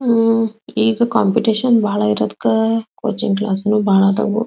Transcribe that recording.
ಉಹ್ ಈಗ ಕಾಂಪಿಟಿಷನ್ ಬಹಳ ಇರೋದ್ಕ ಕೋಚಿಂಗ್ ಕ್ಲಾಸ್ ಬಹಳ ಇದ್ದವ್.